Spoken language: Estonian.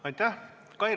Aitäh!